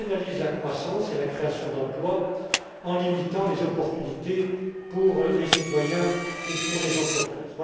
Elle pénalise la croissance et la création d'emplois en limitant les opportunités pour les citoyens et pour les entreprises.